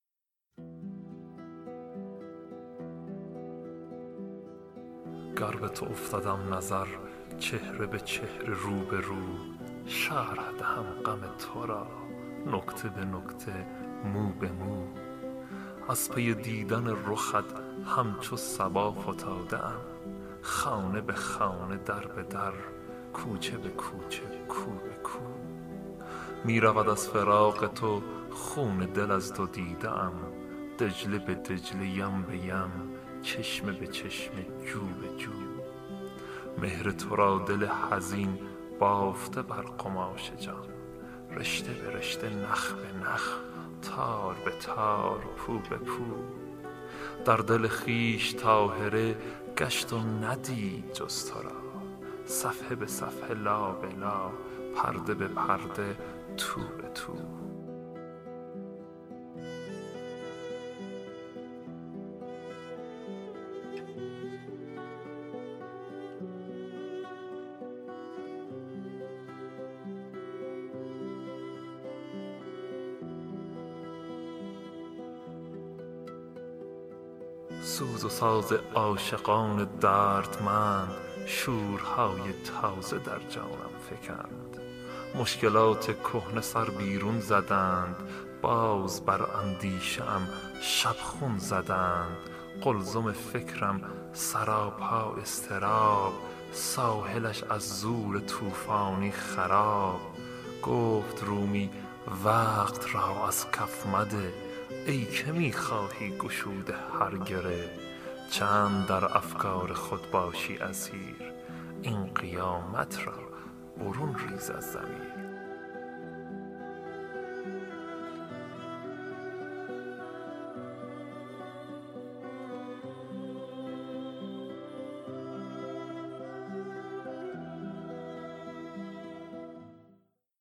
گر به تو افتدم نظر چهره به چهره رو به رو شرح دهم غم تو را نکته به نکته مو به مو از پی دیدن رخت همچو صبا فتاده ام خانه به خانه در به در کوچه به کوچه کو به کو می رود از فراق تو خون دل از دو دیده ام دجله به دجله یم به یم چشمه به چشمه جو به جو مهر تو را دل حزین بافته بر قماش جان رشته به رشته نخ به نخ تار به تار پو به پو در دل خویش طاهره گشت و ندید جز تو را صفحه به صفحه لا به لا پرده به پرده تو به تو سوز و ساز عاشقان دردمند شورهای تازه در جانم فکند مشکلات کهنه سر بیرون زدند باز بر اندیشه ام شبخون زدند قلزم فکرم سراپا اضطراب ساحلش از زور طوفانی خراب گفت رومی وقت را از کف مده ای که میخواهی گشوده هر گره چند در افکار خود باشی اسیر این قیامت را برون ریز از ضمیر